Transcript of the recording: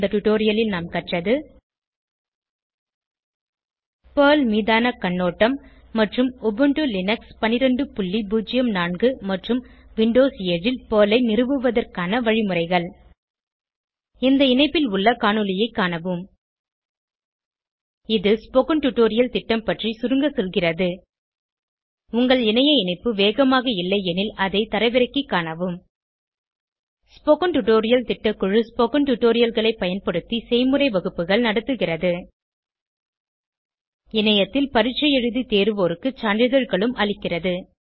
இந்த டுடோரியலில் நாம் கற்றது பெர்ல் மீதான கண்ணோட்டம் மற்றும் உபுண்டு லினக்ஸ் 1204 மற்றும் விண்டோஸ் 7 ல் பெர்ல் ஐ நிறுவுவதற்கான வழிமுறைகள் இந்த இணைப்பில் உள்ள காணொளியைக் காணவும் இது ஸ்போகன் டுடோரியல் திட்டம் பற்றி சுருங்க சொல்கிறது உங்கள் இணைய இணைப்பு வேகமாக இல்லையெனில் அதை தரவிறக்கிக் காணவும் ஸ்போகன் டுடோரியல் திட்டக்குழு ஸ்போகன் டுடோரியல்களைப் பயன்படுத்தி செய்முறை வகுப்புகள் நடத்துகிறது இணையத்தில் பரீட்சை எழுதி தேர்வோருக்கு சான்றிதழ்களும் அளிக்கிறது